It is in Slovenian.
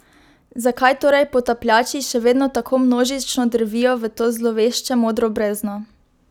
Zakaj torej potapljači še vedno tako množično drvijo v to zlovešče modro brezno?